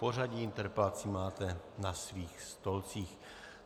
Pořadí interpelací máte na svých stolcích.